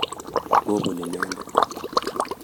kobun inendet.